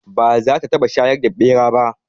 Ba za ta taɓa shayar da ɓera ba